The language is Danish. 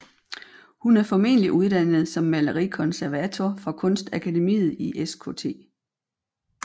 Hun er formentlig uddannet som malerikonservator fra kunstakademiet i Skt